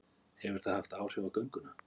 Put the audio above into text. Hefur það haft áhrif á gönguna?